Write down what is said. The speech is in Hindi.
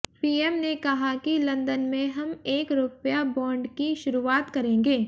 पीएम ने कहा कि लंदन में हम एक रुपया बॉन्ड की शुरुआत करेंगे